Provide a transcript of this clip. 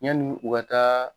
Yani u ka taa